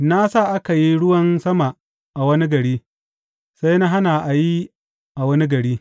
Na sa aka yi ruwan sama a wani gari, sai na hana a yi a wani gari.